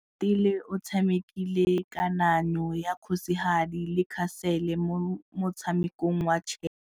Oratile o tshamekile kananyô ya kgosigadi le khasêlê mo motshamekong wa chess.